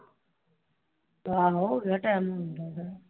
ਆਉ ਜਿਹੜਾ ਟਾਇਮ ਹੁੰਦਾ ਹੈਗਾ